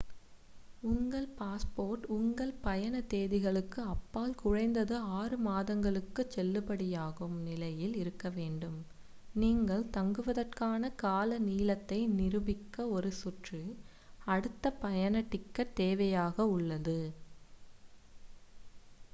உங்கள் பாஸ்போர்ட் உங்கள் பயண தேதிகளுக்கு அப்பால் குறைந்தது 6 மாதங்களுக்குச் செல்லுபடியாகும் நிலையில் இருக்கவேண்டும் நீங்கள் தங்குவதற்கான கால நீளத்தை நிரூபிக்க ஒரு சுற்று / அடுத்த பயண டிக்கெட் தேவையாக உள்ளது